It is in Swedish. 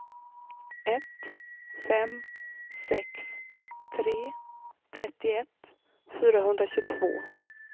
ett fem sex tre trettioett fyrahundratjugotvå